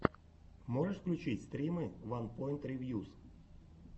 можешь включить стримы ванпоинт ревьюс